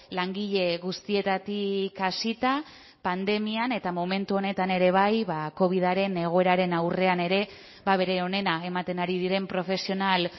langile guztietatik hasita pandemian eta momentu honetan ere bai covidaren egoeraren aurrean ere bere onena ematen ari diren profesional